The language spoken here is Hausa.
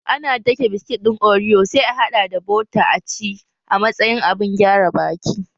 Ana dake biskit ɗin oriyo sai a haɗa da buta aci a matsayin abun gyare baki